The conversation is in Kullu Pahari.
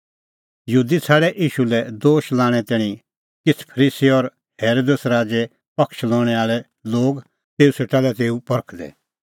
यहूदी छ़ाडै ईशू लै दोश लोल़णें तैणीं किछ़ फरीसी और हेरोदेस राज़े पक्ष लणै आल़ै लोग तेऊ सेटा लै तेऊ परखदै